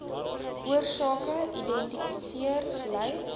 oorsake identifiseer lys